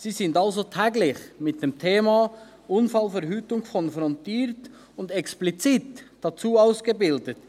Sie sind also täglich mit dem Thema Unfallverhütung konfrontiert und explizit dazu ausgebildet.